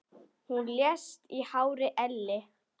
Hún lést í hárri elli.